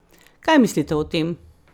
Kaj mislite o tem?